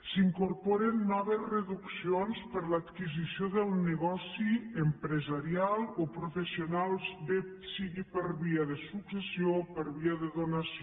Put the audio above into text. s’hi incorporen noves reduccions per l’adquisició del negoci empresarial o professional bé sigui per via de successió o per via de donació